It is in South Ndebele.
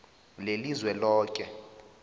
lelizweloke